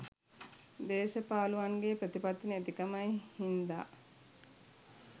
දේශපාලුවන්ගේ ප්‍රතිපත්ති නැතිකමයි හින්ද